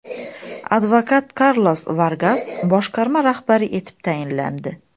Advokat Karlos Vargas boshqarma rahbari etib tayinlandi.